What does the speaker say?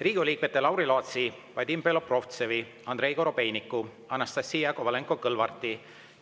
Riigikogu liikmete Lauri Laatsi, Vadim Belobrovtsevi, Andrei Korobeiniku, Anastassia Kovalenko-Kõlvarti